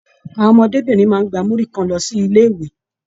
Àwọn ọmọdébinrin máa n gbà muri kan lọ sí ilé ìwé.